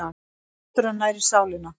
Náttúran nærir sálina